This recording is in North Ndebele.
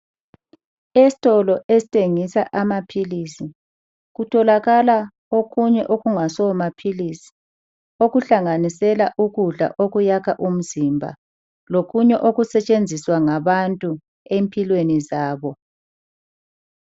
Esitolo esithengisa amaphilisi kutholakala okunye okungasomaphilisi. Okuhlanganisela ukudla okuyakha umzimba lokunye okusetshenziswa ngabantu empilweni zabo.